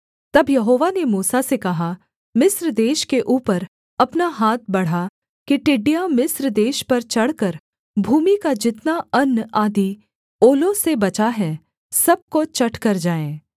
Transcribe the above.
तब यहोवा ने मूसा से कहा मिस्र देश के ऊपर अपना हाथ बढ़ा कि टिड्डियाँ मिस्र देश पर चढ़कर भूमि का जितना अन्न आदि ओलों से बचा है सब को चट कर जाएँ